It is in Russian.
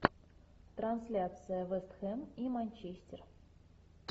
трансляция вест хэм и манчестер